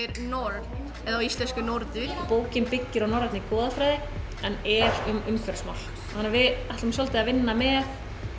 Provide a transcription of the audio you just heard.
nord eða á íslensku Norður bókin byggir á norrænni goðafræði en er um umhverfismál þannig að við ætlum svolítið að vinna með